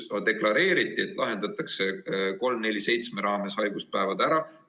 On deklareeritud, et eelnõu 347 raames lahendatakse haiguspäevade küsimus.